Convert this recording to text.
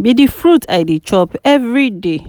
be the fruit I dey chop everyday